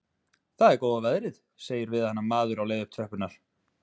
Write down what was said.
Það er góða veðrið, segir við hana maður á leið upp tröppurnar.